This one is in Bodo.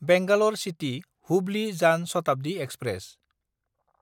बेंगालर सिटि–हुब्लि जान शताब्दि एक्सप्रेस